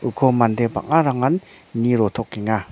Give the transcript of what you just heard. uko mande bang·arangan nie rotokenga.